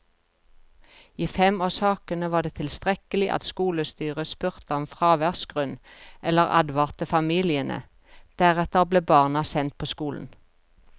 I fem av sakene var det tilstrekkelig at skolestyret spurte om fraværsgrunn eller advarte familiene, deretter ble barna sendt på skolen.